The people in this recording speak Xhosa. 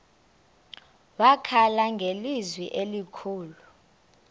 wakhala ngelizwi elikhulu